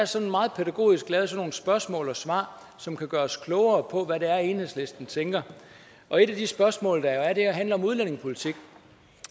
sådan meget pædagogisk lavet sådan nogle spørgsmål svar som kan gøre os klogere på hvad det er enhedslisten tænker og et af de spørgsmål der er handler om udlændingepolitik